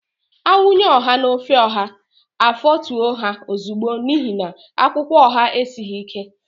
A wunye ọha n'ofe ọha, afọtue ha ozigbo n'ihi na akwụkwọ ọha esighị ike.